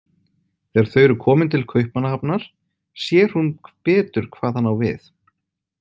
Þegar þau eru komin til Kaupmannahafnar sér hún betur hvað hann á við.